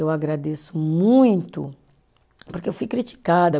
Eu agradeço muito, porque eu fui criticada.